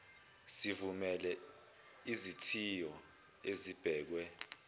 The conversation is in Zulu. sivumele izithiyo ezibekwe